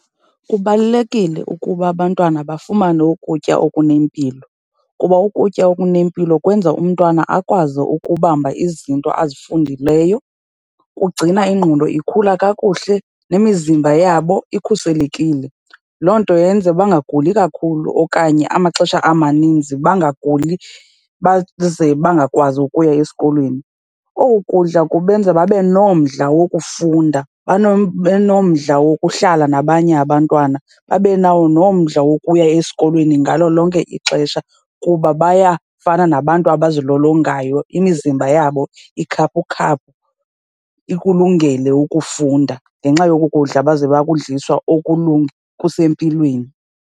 Kubalulekile ukuba abantwana bafumane ukutya okunempilo kuba ukutya okunempilo kwenza umntwana akwazi ukubamba izinto azifundileyo, kugcina ingqondo ikhula kakuhle nemizimba yabo ikhuselekile. Loo nto yenza bangaguli kakhulu okanye amaxesha amaninzi bangaguli baze bangakwazi ukuya esikolweni. Oku kudla kubenza babe nomdla wokufunda benomdla wokuhlala nabanye abantwana, babe nawo nomdla wokuya esikolweni ngalo lonke ixesha kuba bayafana nabantu abazilolongayo, imizimba yabo ikhaphukhaphu, ikulungele ukufunda ngenxa yoku kudla baze bakudliswa kusempilweni.